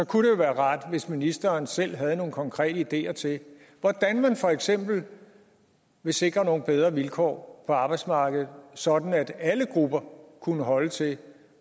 kunne jo være rart hvis ministeren selv havde nogle konkrete ideer til hvordan man for eksempel vil sikre nogle bedre vilkår på arbejdsmarkedet sådan at alle grupper kunne holde til